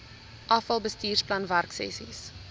afal bestuursplan werksessies